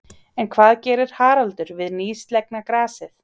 En hvað gerir Haraldur við nýslegna grasið?